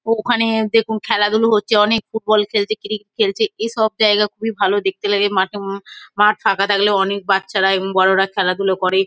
ওখানে দেখুন খেলাধুলো হচ্ছে অনেক ফুটবল খেলছে ক্রিকেট খেলছে এসব জায়গা খুবই ভালো দেখতে লাগে মাঠে উম মাঠ ফাঁকা থাকলে অনেক বাচ্চারা এবং বড়োরা খেলাধুলো করে।